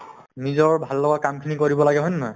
নিজৰ ভাল লগা কামখিনি কৰিব লাগে হয় নে নহয়